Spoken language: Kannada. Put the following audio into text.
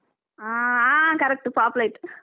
ಹಾ ಹಾ correct ಪಾಪ್ಲೆಟ್ .